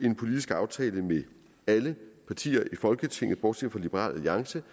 en politisk aftale med alle partier i folketinget bortset fra liberal alliance